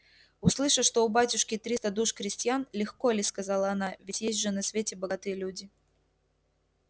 услыша что у батюшки триста душ крестьян легко ли сказала она ведь есть же на свете богатые люди